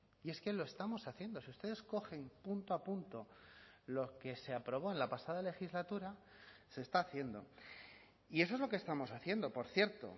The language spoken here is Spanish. y es que lo estamos haciendo si ustedes cogen punto a punto lo que se aprobó en la pasada legislatura se está haciendo y eso es lo que estamos haciendo por cierto